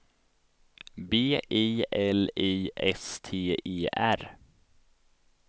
B I L I S T E R